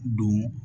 Don